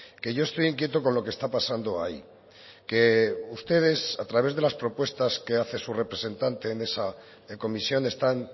que yo estoy inquieto con lo que está pasando ahí que ustedes a través de las propuestas que hace su representante en esa comisión están